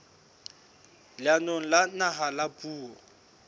leanong la naha la puo